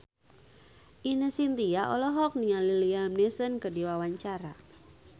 Ine Shintya olohok ningali Liam Neeson keur diwawancara